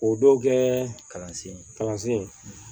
O dɔw kɛ kalansen kalansen